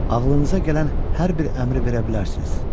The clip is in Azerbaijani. ağlınıza gələn hər bir əmri verə bilərsiniz.